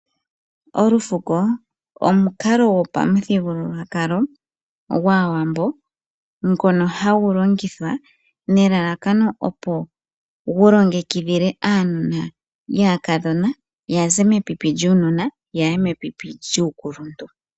Olufuko omukalo gwopamuthigululwakalo gwaawambo, ngono hagu longithwa nelalakano opo gulongekidhile aanona yaakadhona yaze mepipi lyuununona yaye mepipi lyuukuluntu.